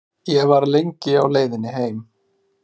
Ég var lengi á leiðinni heim.